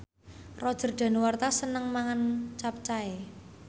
Roger Danuarta seneng mangan capcay